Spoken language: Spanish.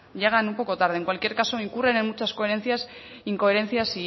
llegan un poco tarde en cualquier caso incurren en muchas incoherencias